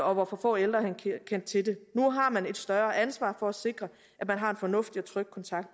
og hvor for få ældre kendte til det nu har man et større ansvar for at sikre at man har en fornuftig og tryg kontakt